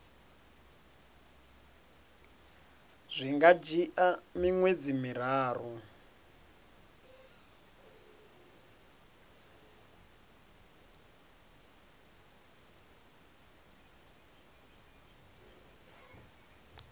zwi nga dzhia miṅwedzi miraru